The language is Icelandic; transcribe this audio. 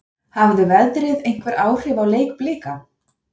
Hafði veðrið einhver áhrif á leik Blika?